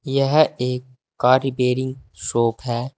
यह एक car repairing shop है।